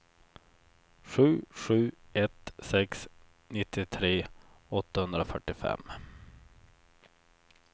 sju sju ett sex nittiotre åttahundrafyrtiofem